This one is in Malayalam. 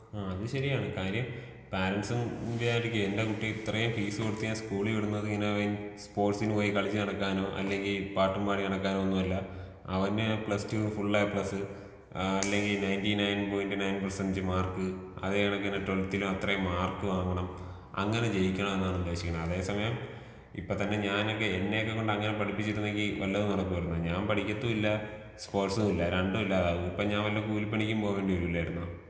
ആ അത് ശെര്യാണ് കാര്യം പാരൻസും വിചാരിക്കും എന്റെ കുട്ടി ഇത്രേം ഫീസ് കൊട്ത്ത് ഞാൻ സ്കൂളീ വിടുന്നത് ഇങ്ങനെ ഇവന്‍ ഈ സ്പോർട്സിന് പോയി കളിച്ച് നടക്കാനോ അല്ലെങ്കി പാട്ടും പാടി നടക്കാനോ ഒന്നും അല്ല അവന് പ്ലസ് ടൂന് ഫുൾ എപ്ലസ് ആ അല്ലെങ്കി ninety nine point nine percent mark അതേ കണാക്കിന് ട്വവൽത്തിലും അത്രെ മാർക്ക് വാങ്ങണം അങ്ങനെ ജയിക്കണമ്ന്നാണ് ഉദ്ദേശിക്കണെ അതേ സമയം ഇപ്പതന്നെ ഞാനൊക്കെ എന്നേകൊണ്ടൊക്കെ അങ്ങനെക്കെ പഠിപ്പിച്ചിരുന്നെങ്കി വല്ലതും നടക്കുവാർന്നോ ഞാൻ പഠിക്കത്തൂല്ലാ സ്പോർട്സൂല്ല രണ്ടൂല്ലാതാവും അപ്പൊ ഞാൻ വല്ല കൂലിപ്പണിക്കും പോകണ്ടിവരുല്ലാർന്നൊ.